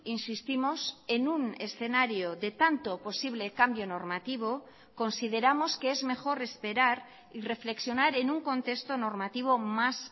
insistimos en un escenario de tanto posible cambio normativo consideramos que es mejor esperar y reflexionar en un contexto normativo más